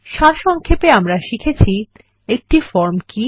সারসংক্ষেপে আমরা শিখেছি একটা ফর্ম কি160